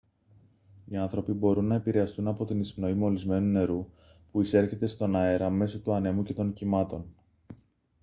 οι άνθρωποι μπορούν να επηρεαστούν από την εισπνοή μολυσμένου νερού που εισέρχεται στον αέρα μέσω του ανέμου και των κυμάτων